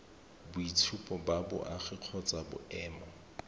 boitshupo ba boagi kgotsa boemo